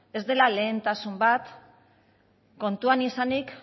ez dela lehentasun bat kontuan izanik